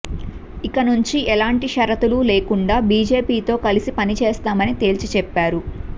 ఇకనుంచి ఎలాంటి షరతులూ లేకుండా బీజేపీతో కలసి పని చేస్తామని తేల్చిచెప్పారు